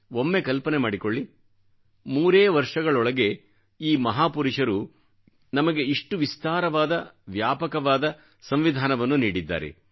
ಒಮ್ಮೆ ಕಲ್ಪನೆ ಮಾಡಿಕೊಳ್ಳಿ ಮೂರೇ ವರ್ಷಗಳೊಳಗೆಈ ಮಹಾಪುರುಷರು ನಮಗೆ ಇಷ್ಟು ವಿಸ್ತಾರವಾದ ವ್ಯಾಪಕವಾದ ಸಂವಿಧಾನವನ್ನು ನೀಡಿದ್ದಾರೆ